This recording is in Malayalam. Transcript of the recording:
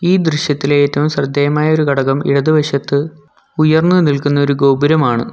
ഈ ദൃശ്യത്തിലെ ഏറ്റവും ശ്രദ്ധേയമായ ഒരു ഘടകം ഇടതുവശത്ത് ഉയർന്നുനിൽക്കുന്ന ഒരു ഗോപുരമാണ്.